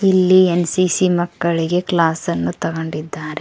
ಇಲ್ಲಿ ಎನ್_ಸಿ_ಸಿ ಮಕ್ಕಳಿಗೆ ಕ್ಲಾಸ್ ಅನ್ನು ತಗೊಂಡಿದ್ದಾರೆ.